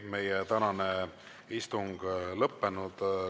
Meie tänane istung on lõppenud.